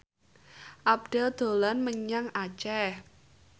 Abdel dolan menyang Aceh